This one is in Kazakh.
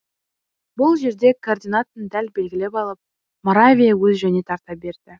бұл жерде координатын дәл белгілеп алып моравия өз жөніне тарта берді